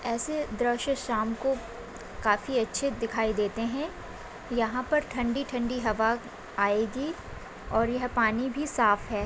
ऐसे दृश्य शाम को काफी अच्छे दिखाई देते है यहाँ पर ठंडी-ठंडी हवा आएगी और यहाँ पानी भी साफ़ है।